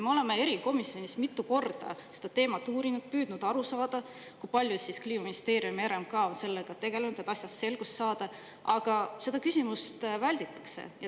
Me oleme erikomisjonis mitu korda seda teemat uurinud ja püüdnud aru saada, kui palju Kliimaministeerium ja RMK on sellega tegelenud, et asjas selgust saada, aga seda küsimust välditakse.